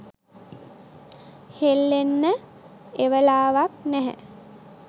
හෙල්ලෙන්න එවලාවක් නැහැ.